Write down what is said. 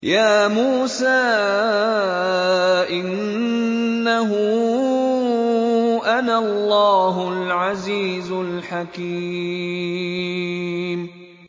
يَا مُوسَىٰ إِنَّهُ أَنَا اللَّهُ الْعَزِيزُ الْحَكِيمُ